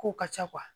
Kow ka ca